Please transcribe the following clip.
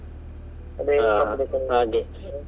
ಹಾ ಹಾಗೆ.